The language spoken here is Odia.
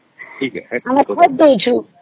ଆମର ଖତ ଦେଇଚୁ